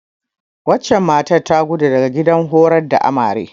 Wancen matar ta gudo daga gidan horar da Amare.